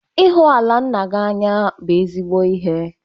Ihu ala nna gị n'anya bụ ezigbo ihe.